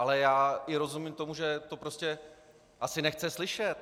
Ale já i rozumím tomu, že to prostě asi nechce slyšet.